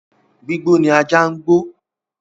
Gbígbó ni ajá ń gbó